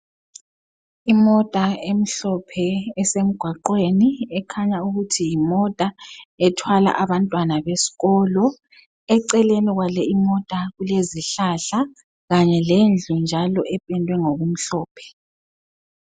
Imota emhlophe esemgwaqweni ekhanya ukuthi yimota ethwala abantwana besikolo. Eceleni kwale imota kulezihlahla kanye lendlu njalo ependwe ngokumhlophe.